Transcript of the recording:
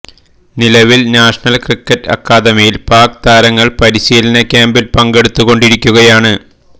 നിലവില് national cricket അക്കാദമിയില് പാക് താരങ്ങള് പരിശീലന ക്യാമ്പില് പങ്കെടുത്തു കൊണ്ടിരിക്കുകയാണ്